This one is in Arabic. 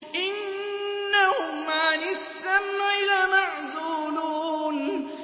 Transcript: إِنَّهُمْ عَنِ السَّمْعِ لَمَعْزُولُونَ